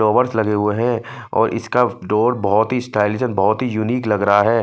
Flowers लगे हुए है और इसका डोर बहोत ही स्टाइलिश और बहोत ही यूनिक लग रहा है।